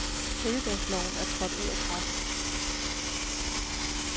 Helligdagsloven er trådt ud af kraft.